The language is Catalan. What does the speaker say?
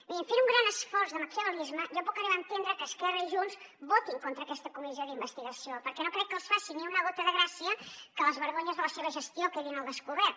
miri fent un gran esforç de maquiavel·lisme jo puc arribar a entendre que esquerra i junts votin contra aquesta comissió d’investigació perquè no crec que els faci ni una gota de gràcia que les vergonyes de la seva gestió quedin al descobert